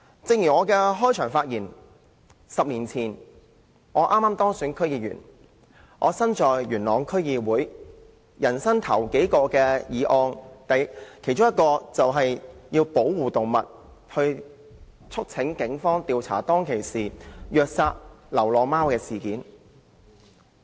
正如我在開始辯論時所言 ，10 年前我剛當選元朗區區議員，其中一項首要工作，就是提出有關保護動物的議案，促請警方調查當時虐待流浪貓的事件。